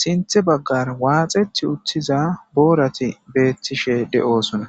sinthe baggar waaxeti utthiza boorati beettishe de7oosona.